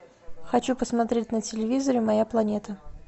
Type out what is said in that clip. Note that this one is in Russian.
хочу посмотреть на телевизоре моя планета